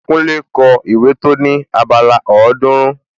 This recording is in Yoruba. Kúnlé kọ ìwé tó ní abala ọ̀ọ́dúrún